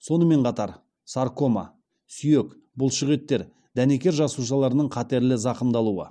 сонымен қатар саркома сүйек бұлшықеттер дәнекер жасушаларының қатерлі зақымдалуы